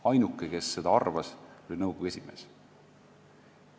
Ainuke, kes arvas, et see on võimalik, oli nõukogu esimees.